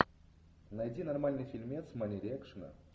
найди нормальный фильмец в манере экшена